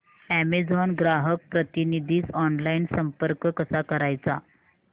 Amazon ग्राहक प्रतिनिधीस online संपर्क कसा करायचा